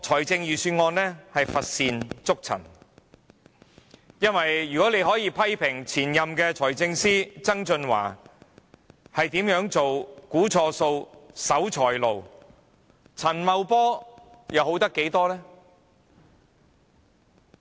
這份預算案乏善足陳，如果大家可以批評前任財政司司長曾俊華如何估算錯誤、是守財奴，陳茂波又可以好多少？